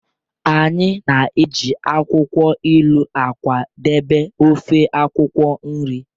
Anyị na-eji akwukwo ilu akwadebe ofe akwukwo nri